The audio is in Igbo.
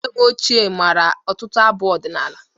Nne m ochie mara ọtụtụ abụ ọdịnala.